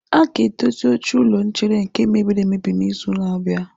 A ga-edozi oche ụlọ nchere nke mebiri emebi n'izu na-abịa.